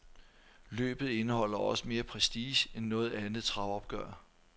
Løbet indeholder også mere prestige end noget andet travopgør.